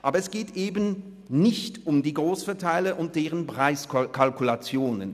Aber es geht eben nicht um die Grossverteiler und deren Preiskalkulationen.